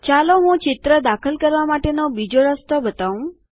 ચાલો હું ચિત્રો દાખલ કરવા માટેનો બીજો રસ્તો બતાવું